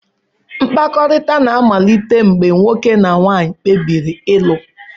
Mkpakọrịta na-amalite mgbe nwoke na nwanyị kpebiri ịlụ.